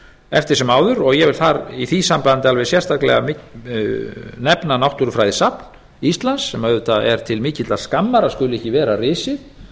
eftir sem áður og ég vil í því sambandi alveg sérstaklega nefna náttúrufræðisafn íslands sem auðvitað er til mikillar skammar að skuli ekki vera risið